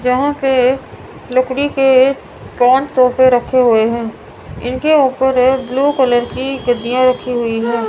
जहां पे एक लकड़ी के एक सोफे रखे हुवे हैं इनके ऊपर एक ब्ल्यू कलर की गद्दीयां रखी हुई है।